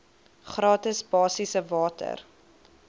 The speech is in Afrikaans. gratis basiese water